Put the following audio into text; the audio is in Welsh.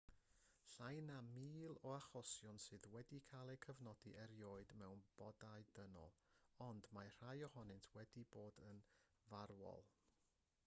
llai na mil o achosion sydd wedi cael eu cofnodi erioed mewn bodau dynol ond mae rhai ohonynt wedi bod yn farwol